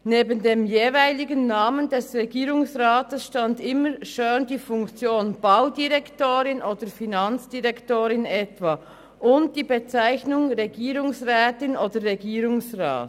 Neben dem jeweiligen Namen des Regierungsrats stand immer schön die Funktion: Baudirektorin», «Finanzdirektorin» und so weiter sowie die Bezeichnung «Regierungsrat» oder «Regierungsrätin».